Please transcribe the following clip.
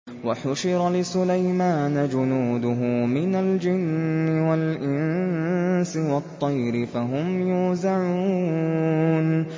وَحُشِرَ لِسُلَيْمَانَ جُنُودُهُ مِنَ الْجِنِّ وَالْإِنسِ وَالطَّيْرِ فَهُمْ يُوزَعُونَ